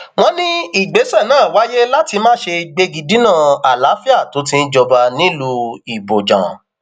wọn ní ìgbésẹ náà wáyé láti má ṣe gbégi dínà àlàáfíà tó ti ń jọba nílùú ibojàn